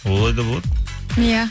олай да болады иә